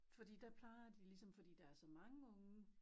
Fordi der plejer de ligesom fordi der er så mange unge